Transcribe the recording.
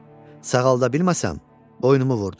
Sağalda bilməsəm, boynumu vurdur.